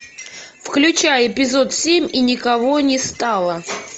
включай эпизод семь и никого не стало